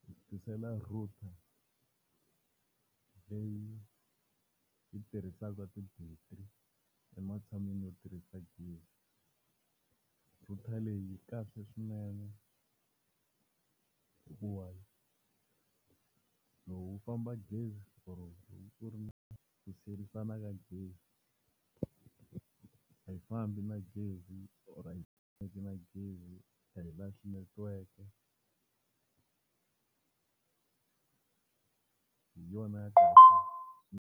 Hi ku tisela router leyi yi tirhisaka ti-battery ematshan'wini yo tirhisa gezi. Router leyi yi kahle swinene hikuva loko ku famba gezi ku ri ni ku sherisana ka gezi, a yi fambi na gezi or a yi fambi na gezi a yi lahli netiweke hi yona.